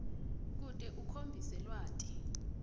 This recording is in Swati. kute ukhombise lwati